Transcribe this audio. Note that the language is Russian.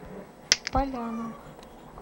поляна